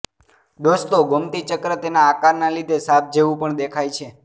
દોસ્તો ગોમતી ચક્ર તેના આકારના લીધે સાપ જેવું પણ દેખાય છે